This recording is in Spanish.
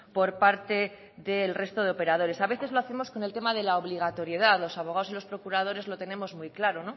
por parte del resto de operadores a veces lo hacemos con el tema de la obligatoriedad los abogados y los procuradores lo tenemos muy claro